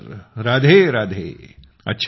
हो राधेराधे